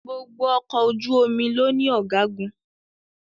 gbógbò Ọkọ̀ ojú-omi ló ní Ọ̀gágun